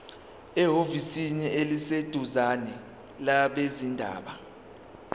ehhovisi eliseduzane labezindaba